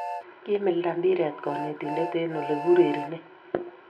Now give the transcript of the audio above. Kimilta mpiret konetinte eng ole kiurerenei